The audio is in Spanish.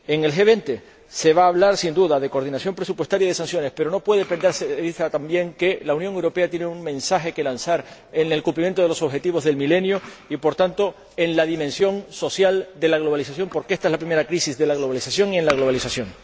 En el G20 se va a hablar, sin duda, de coordinación presupuestaria y de sanciones, pero no puede perderse de vista también que la Unión Europea tiene un mensaje que lanzar en el cumplimiento de los Objetivos del Milenio y, por tanto, en la dimensión social de la globalización, porque ésta es la primera crisis de la globalización y en la globalización.